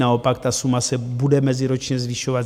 Naopak ta suma se bude meziročně zvyšovat.